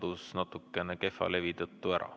See kadus kehva levi tõttu ära.